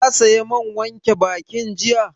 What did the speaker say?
Ka saya man wanke bakin jiya?